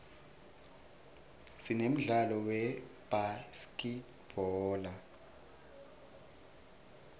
sinemdlalo webhaskidbhola